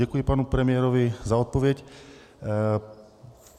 Děkuji panu premiérovi za odpověď.